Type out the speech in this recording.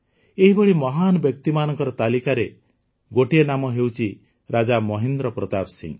ଏହିଭଳି ମହାନ ବ୍ୟକ୍ତିମାନଙ୍କ ତାଲିକାରେ ଗୋଟିଏ ନାମ ହେଉଛି ରାଜା ମହେନ୍ଦ୍ର ପ୍ରତାପ ସିଂହ